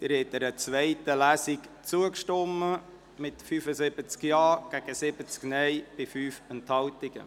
Sie haben der Durchführung einer zweiten Lesungzugestimmt mit 75 Ja- zu 70 NeinStimmen bei 5 Enthaltungen.